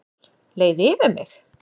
Leið yfir mig?